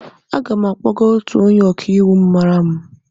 Aga m akpọgaa otu onye ọka iwu m maara.